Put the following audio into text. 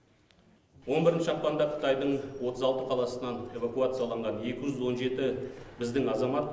он бірінші ақпанда қытайдың отыз алты қаласынан эвакуацияланған екі жүз он жеті біздің азамат